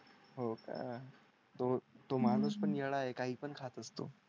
हो का हम्म तो माणूस पण येडा आहे काही पण खात असतो.